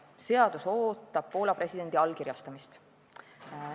Seadus ootab Poola presidendi allkirjastamist.